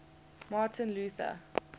martin luther